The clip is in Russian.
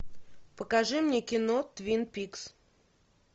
покажи мне кино твин пикс